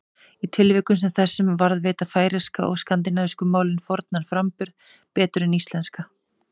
Í tilvikum sem þessum varðveita færeyska og skandinavísku málin fornan framburð betur en íslenska.